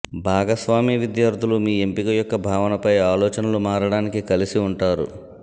భాగస్వామి విద్యార్థులు మీ ఎంపిక యొక్క భావనపై ఆలోచనలు మారడానికి కలిసి ఉంటారు